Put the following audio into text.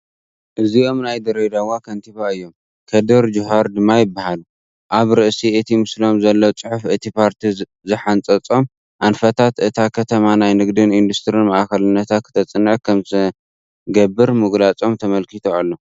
እዚኦም ናይ ድሬዳዋ ከንቲባ እዮም፡፡ ከድር ጁሃር ድማ ይበሃሉ፡፡ ኣብ ርእሲ እቲ ምስሎም ዘሎ ፅሑፍ እቲ ፓርቲ ዝሓንፀፆም ኣንፈታት እታ ከተማ ናይ ንግድን ኢንዱስትሪን ማእኸልነታ ክተፅንዕ ከምዝገበር ምግላፅም ተመልኪቱ ኣሎ፡፡